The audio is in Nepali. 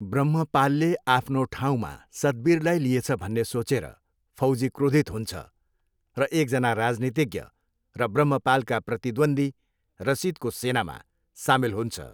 ब्रह्मपालले आफ्नो ठाउँमा सतवीरलाई लिएछ भन्ने सोचेर, फौजी क्रोधित हुन्छ र एकजना राजनीतिज्ञ र ब्रह्मपालका प्रतिद्वन्द्वी रसिदको सेनामा सामेल हुन्छ।